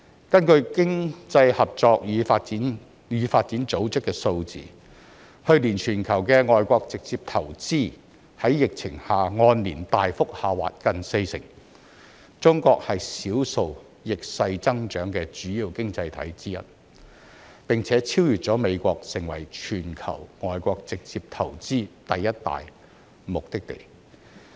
根據經濟合作與發展組織的數字，去年全球的外國直接投資在疫情下按年大幅下滑近四成，中國是少數逆勢增長的主要經濟體之一，並且超越美國，成為全球外國直接投資第一大目的地。